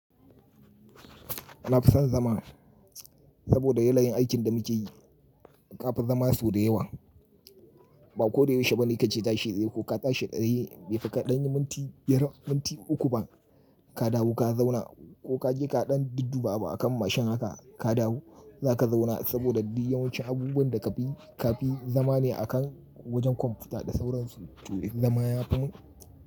Na fison zama saboda yayayin aikin da muke yi ka fi zama sau da yawa. Ba ko da yaushe ba ne kake tashi dai ko ka tashi ɗari bai fi ka ɗanyi minti biyar, minti uku ba ka dawo ka zauna ko kaje ka ɗan duddu ba abu akan mashin haka ka dawo zaka zauna saboda duk yawancin abubuwan da ka fi, ka fi zama ne a kan wajen kwamfuta da sauransu toh in zamaya fimun.